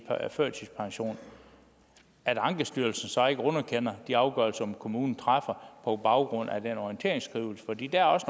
førtidspension at ankestyrelsen så ikke underkender de afgørelser kommunen træffer på baggrund af den orienteringsskrivelse fordi der også